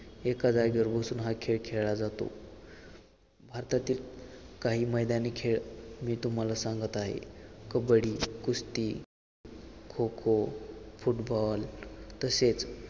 एका जागेवर बसून हा खेळ खेळला जातो आतातील काही मैदानी खेळ मी तुम्हाला सांगत आहे कबड्डी, कुस्ती, खो-खो, फुटबॉल तसेच